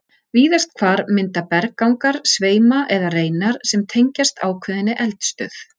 Víðast hvar mynda berggangar sveima eða reinar sem tengjast ákveðinni eldstöð.